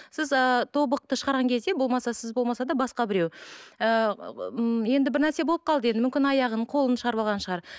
сіз ыыы тобықты шығарған кезде болмаса сіз болмаса да басқа біреу ыыы м енді бір нәрсе болып қалды енді мүмкін аяғын қолын шығарып алған шығар